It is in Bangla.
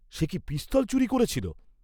"সে কি পিস্তল চুরি করেছিল?"